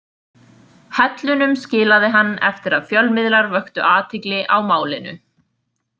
Hellunum skilaði hann eftir að fjölmiðlar vöktu athygli á málinu.